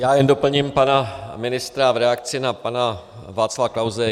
Já jen doplním pana ministra v reakci na pana Václava Klause.